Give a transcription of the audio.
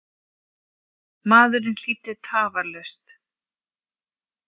Maðurinn hlýddi tafarlaust.